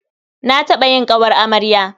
Na taɓa yin ƙawar amarya.